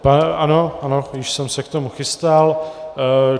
Ano, ano, již jsem se k tomu chystal.